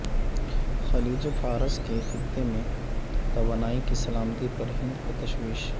خلیج فارس کے خطہ میں توانائی کی سلامتی پر ہند کو تشویش